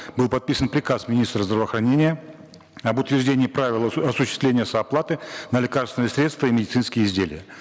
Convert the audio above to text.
был подписан приказ министра здравоохранения об утверждении правил осуществления сооплаты на лекарственные средства и медицинские изделия